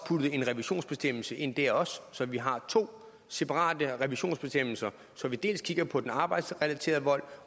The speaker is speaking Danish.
puttede en revisionsbestemmelse ind dér også så vi har to separate revisionsbestemmelser så vi dels kigger på den arbejdsrelaterede vold